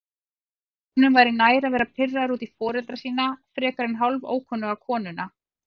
Honum væri nær að vera pirraður út í foreldra sína frekar en hálfókunnuga konuna.